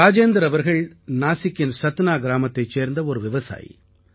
ராஜேந்திரா அவர்கள் நாசிக்கின் சத்னா கிராமத்தைச் சேர்ந்த ஒரு விவசாயி